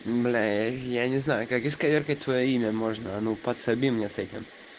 бля я я не знаю как исковеркать твоё имя можно а ну подсоби мне с этим